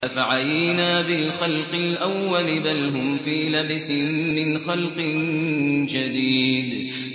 أَفَعَيِينَا بِالْخَلْقِ الْأَوَّلِ ۚ بَلْ هُمْ فِي لَبْسٍ مِّنْ خَلْقٍ جَدِيدٍ